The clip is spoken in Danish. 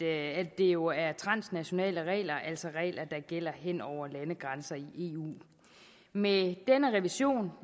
at det jo er transnationale regler altså regler der gælder hen over landegrænserne i eu med denne revision